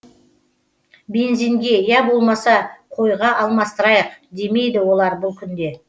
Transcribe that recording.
бензинге я болмаса қойға алмастырайық демейді олар бұл күнде